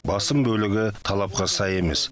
басым бөлігі талапқа сай емес